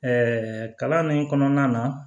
kalan min kɔnɔna na